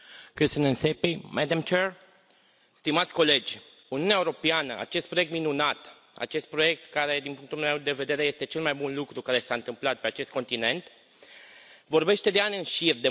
Stimați colegi, Uniunea Europeană, acest proiect minunat, acest proiect care, din punctul meu de vedere, este cel mai bun lucru care s a întâmplat pe acest continent, vorbește de ani în șir de măsuri necesare pentru protecția mediului.